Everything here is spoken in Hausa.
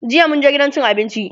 jiya mun je gidan cin abinci